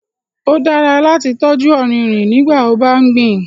Ó dára láti tọ́jú ọrinrin nígbàtí o bá gbìn